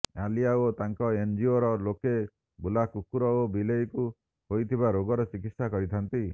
ଆଲିଆ ଓ ତାଙ୍କ ଏନଜିଓର ଲୋକେ ବୁଲା କୁକୁର ଓ ବିଲେଇଙ୍କୁ ହୋଇଥିବା ରୋଗର ଚିକିତ୍ସା କରିଥାନ୍ତି